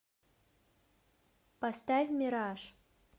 поставь мираж